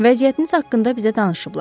Vəziyyətiniz haqqında bizə danışıblar.